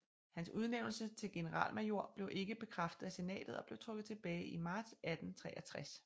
Hans udnævnelse til generalmajor blev ikke bekræftet af Senatet og blev trukket tilbage i marts 1863